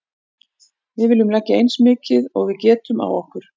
Við viljum leggja eins mikið og við getum á okkur.